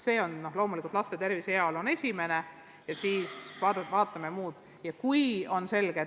Loomulikult on laste tervis ja heaolu esikohal, seejärel tulevad muud küsimused.